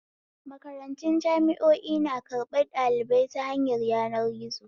Makarantu jami'o'i na karɓan ɗaliba ta hanyar yanar gizo